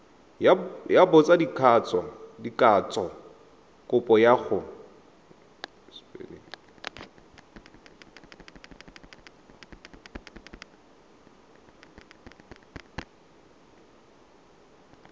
ya botsadikatsho kopo ya go